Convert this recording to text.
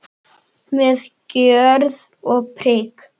Með gjörð og prik.